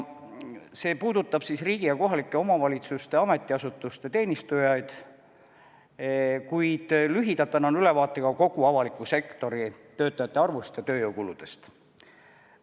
See puudutab ka riigi ja kohalike omavalitsuste ametiasutuste teenistujaid, kuid lühidalt annan ülevaate ka kogu avaliku sektori töötajate arvust ja tööjõukuludest.